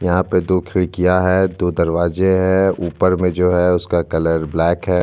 यहाँ पे दो खिड़कियां है दो दरवाजे है ऊपर में जो है उसका कलर ब्लैक है।